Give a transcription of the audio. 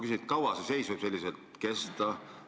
Kui kaua see seis võib kesta?